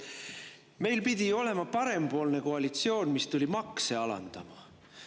Meil pidi ju olema parempoolne koalitsioon, mis tuli makse alandama.